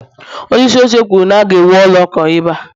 onyeisi oche kwuru na- ga-ewu ụlọ ụka ebe a